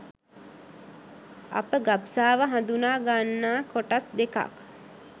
අප ගබ්සාව හඳුනා ගන්නා කොටස් දෙකක්